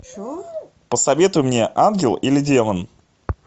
посоветуй мне ангел или демон